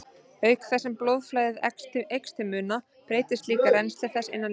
Auk þess sem blóðflæðið eykst til muna breytist líka rennsli þess innan líkamans.